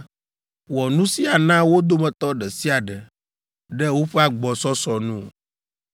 Wɔ nu sia na wo dometɔ ɖe sia ɖe, ɖe woƒe agbɔsɔsɔ nu.